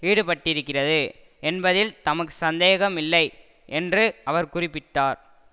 ஈடுபட்டிருக்கிறது என்பதில் தமக்கு சந்தேகம் இல்லை என்று அவர் குறிப்பிட்டார்